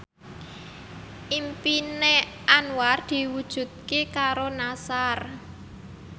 impine Anwar diwujudke karo Nassar